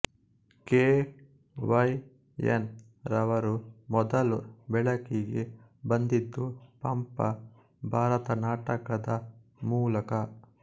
K Y N ರವರು ಮೊದಲು ಬೆಳಕಿಗೆ ಬಂದಿದ್ದು ಪಂಪ ಭಾರತ ನಾಟಕದ ಮೂಲಕ